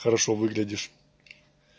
хорошо выглядишь